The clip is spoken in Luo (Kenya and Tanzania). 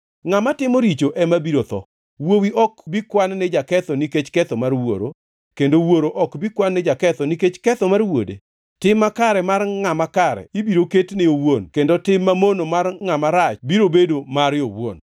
Ngʼama timo richo ema biro tho. Wuowi ok bi kwan ni jaketho nikech ketho mar wuoro, kendo wuoro ok bi kwan ni jaketho nikech ketho mar wuode. Tim makare mar ngʼama kare ibiro ketne owuon kendo tim mamono mar ngʼama rach biro bedo mare owuon.